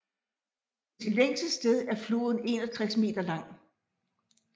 På sit længste sted er floden 61 meter lang